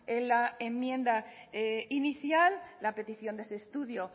en la enmienda inicial la petición de ese estudio